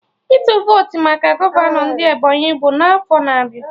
Ịtụ votu maka gọvanọ ndị Ebonyi bụ n'afọ na-abịa